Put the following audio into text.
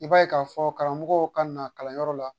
I b'a ye k'a fɔ karamɔgɔw ka na kalanyɔrɔ la